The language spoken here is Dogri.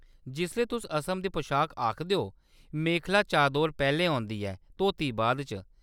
जिसलै तुस असम दी पशाक आखदे ओ, मेखला-चादोर पैह्‌‌‌लें औंदी ऐ, धोती बाद च।